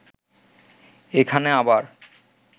এখানে আবার